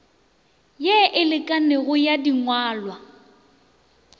ye e lekanego ya dingwalwa